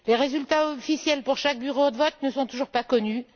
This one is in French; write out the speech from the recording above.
Les résultats officiels pour chaque bureau de vote ne sont toujours pas connus.